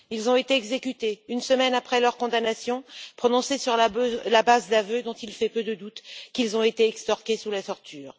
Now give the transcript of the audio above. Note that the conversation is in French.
Ils ont été exécutés une semaine après leur condamnation, prononcée sur la base d'aveux dont il fait peu de doutes qu'ils ont été extorqués sous la torture.